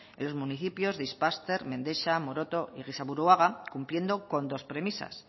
en los municipios de ispaster mendexa amoroto y gizaburuaga cumpliendo con dos premisas